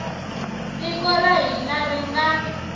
tiko ra hina ri nga